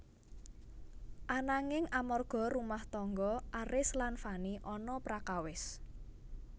Ananging amarga rumah tangga Aris lan Fany ana prakawis